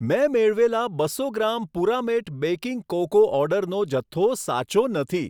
મેં મેળવેલા બસો ગ્રામ પુરામેટ બેકિંગ કોકો ઓર્ડરનો જથ્થો સાચો નથી